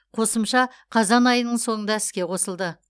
қосымша қазан айының соңында іске қосылды